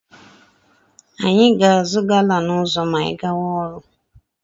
Anyị ga-azụta ọgwụ anwụnta echi.